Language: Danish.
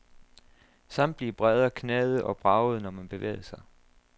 Samtlige brædder knagede og bragede, når man bevægede sig.